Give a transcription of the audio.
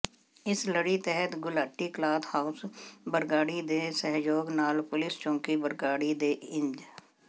ਇਸ ਲੜੀ ਤਹਿਤ ਗੁਲਾਟੀ ਕਲਾਥ ਹਾਊਸ ਬਰਗਾੜੀ ਦੇ ਸਹਿਯੋਗ ਨਾਲ ਪੁਲਿਸ ਚੌਕੀ ਬਰਗਾੜੀ ਦੇ ਇੰਚ